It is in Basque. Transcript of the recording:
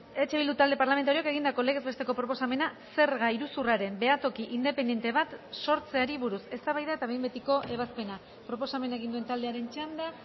eh bildu talde parlamentarioak egindako legez besteko proposamena zerga iruzurraren behatoki independente bat sortzeari buruz eztabaida eta behin betiko ebazpena proposamena egin duen taldearen txanda